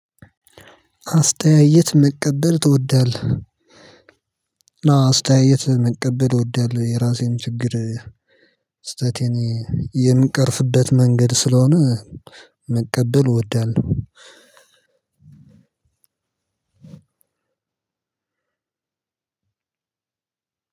አስተያየት መቀበል ትወዳለህ አዎ አስተያየት መቀበል እወዳለው የራሴን ችግር ስህተቴን የምቀርፍበት መንገድ ስለሆነ። መቀበል እወዳለሁ።